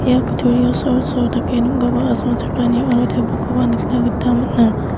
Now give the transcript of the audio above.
ia kutturio dake asongchakani aro tebilkoba nikna gita man·a.